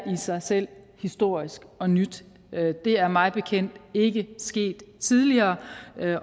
i sig selv er historisk og nyt det er mig bekendt ikke sket tidligere